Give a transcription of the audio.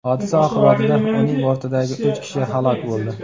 Hodisa oqibatida uning bortidagi uch kishi halok bo‘ldi.